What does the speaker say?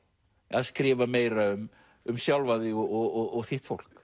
að skrifa meira um um sjálfan þig og þitt fólk